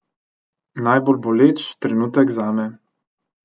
Najbolj boleč trenutek zame.